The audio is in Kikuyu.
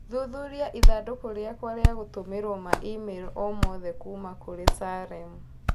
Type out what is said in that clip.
Thuthuria ithandũkũ rĩakwa rĩa gũtũmĩrũo ma i-mīrū o yothe kuuma kũrĩ Salem